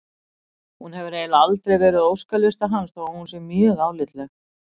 Hún hefur eiginlega aldrei verið á óskalista hans þó að hún sé mjög álitleg.